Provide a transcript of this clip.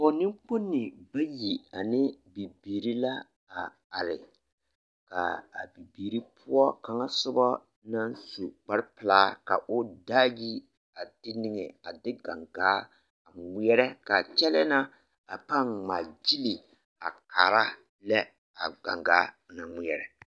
Pɔge nenkponi bayi ane bibiiri la a are k'a bibiiri poɔ kaŋa sobɔ naŋ su kpare pelaa ka o daa yi a de niŋe a de gaŋgaa ŋmeɛrɛ k'a kyɛlɛɛ na a pãã ŋmaa gyili a kaara lɛ a gaŋgaa naŋ ŋmeɛrɛ.